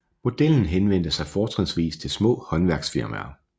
Modellen henvendte sig fortrinsvis til små håndværksfirmaer